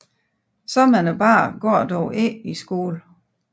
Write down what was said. Så mange børn går dog ikke i skolen